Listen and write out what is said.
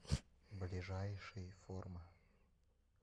ближайший форма